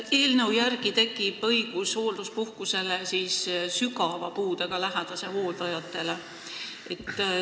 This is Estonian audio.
Eelnõu järgi tekib õigus hoolduspuhkust saada sügava puudega lähedase hooldajatel.